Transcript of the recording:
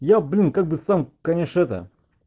я блин как бы сам конечно это